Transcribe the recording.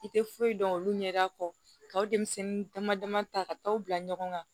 I tɛ foyi dɔn olu ɲɛda kɔ denmisɛnnin dama dama ta ka taa u bila ɲɔgɔn kan